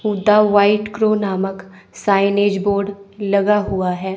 Hooda white crow नामक signage board लगा हुआ है।